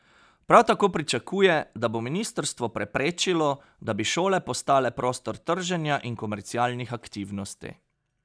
Prav tako pričakuje, da bo ministrstvo preprečilo, da bi šole postale prostor trženja in komercialnih aktivnosti.